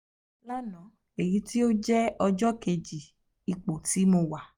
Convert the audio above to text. lana (eyiti o jẹ ọjọ keji ipo ti mo wa)